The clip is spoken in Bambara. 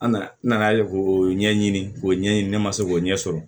An nana n nana ye k'o ɲɛɲini k'o ɲɛɲini ne ma se k'o ɲɛ sɔrɔ